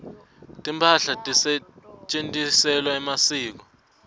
timphahla letisetjentiselwa emasiko